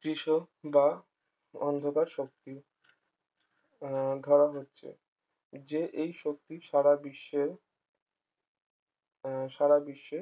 কৃষ্ণ বা অন্ধকার শক্তি আহ ধরা হচ্ছে যে এই শক্তি সারাবিশ্বে আহ সারা বিশ্বে